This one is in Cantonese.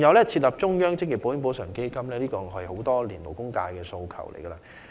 設立中央職業保險補償基金也是勞工界多年來的訴求。